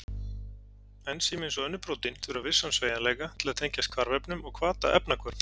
Ensím, eins og önnur prótín, þurfa vissan sveigjanleika til að tengjast hvarfefnum og hvata efnahvörf.